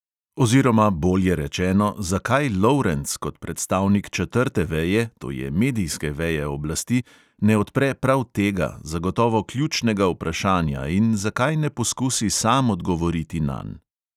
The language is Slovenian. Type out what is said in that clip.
Oziroma, bolje rečeno, zakaj lovrenc, kot predstavnik četrte veje, to je medijske veje oblasti, ne odpre prav tega, zagotovo ključnega vprašanja, in zakaj ne poskusi sam odgovoriti nanj?